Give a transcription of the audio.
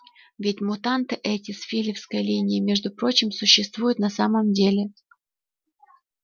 ведь мутанты эти с филёвской линии между прочим существуют на самом деле